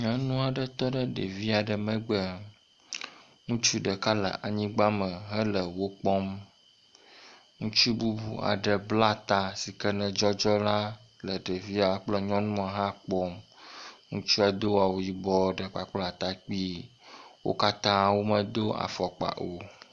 Nyɔnu aɖe tɔ ɖe ɖevi aɖe megbe. Ŋutsu ɖeka le anyigba me hele wo kpɔm. Ŋutsu bubu aɖe bla ta si ke ne dzɔdzɔ la le ɖevia kple nyɔnua hã kpɔm. Ŋutsua ne do awu yibɔ ɖe kpakple atakpi. Wo katã wo medo afɔkpa o.